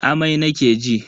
Amai nake ji.